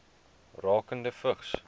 rakende vigs